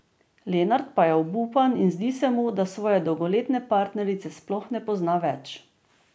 Lenart pa je obupan in zdi se mu, da svoje dolgoletne partnerice sploh ne pozna več.